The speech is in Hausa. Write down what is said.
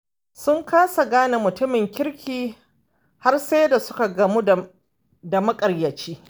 Sun kasa gane mutumin kirki har sai da suka gamu da maƙaryaci.